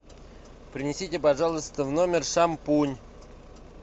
принесите пожалуйста в номер шампунь